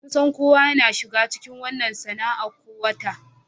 Kusan kowa yana shiga cikin wannan sana'a ko wata.